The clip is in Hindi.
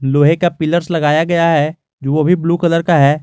लोहे का पिलर्स लगाया गया है वो भी ब्लू कलर का है।